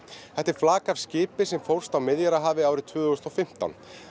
þetta er flak af skipi sem fórst á Miðjarðarhafi árið tvö þúsund og fimmtán